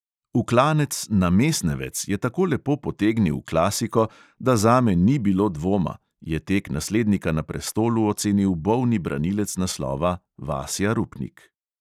V klanec na mesnevec je tako lepo potegnil klasiko, da zame ni bilo dvoma, je tek naslednika na prestolu ocenil bolni branilec naslova vasja rupnik.